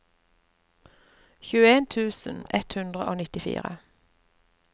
tjueen tusen ett hundre og nittifire